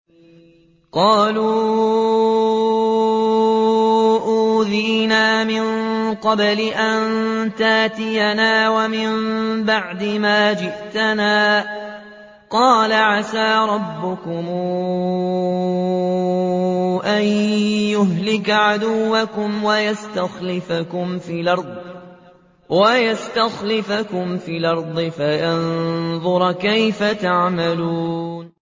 قَالُوا أُوذِينَا مِن قَبْلِ أَن تَأْتِيَنَا وَمِن بَعْدِ مَا جِئْتَنَا ۚ قَالَ عَسَىٰ رَبُّكُمْ أَن يُهْلِكَ عَدُوَّكُمْ وَيَسْتَخْلِفَكُمْ فِي الْأَرْضِ فَيَنظُرَ كَيْفَ تَعْمَلُونَ